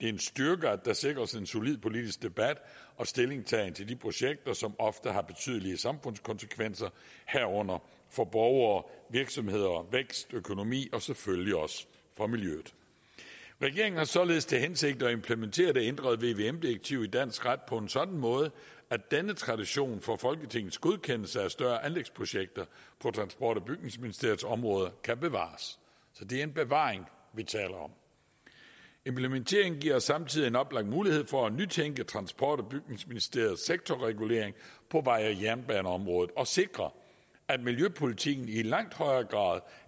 en styrke at der sikres en solid politisk debat og stillingtagen til de projekter som ofte har betydelige samfundskonsekvenser herunder for borgere og virksomheder vækst og økonomi og selvfølgelig også for miljøet regeringen har således til hensigt at implementere det ændrede vvm direktiv i dansk ret på en sådan måde at denne tradition for folketingets godkendelse af større anlægsprojekter på transport og bygningsministeriets område kan bevares så det er en bevaring vi taler om implementeringen giver os samtidig en oplagt mulighed for at nytænke transport og bygningsministeriets sektorregulering på vej og jernbaneområdet og sikre at miljøpolitikken i langt højere grad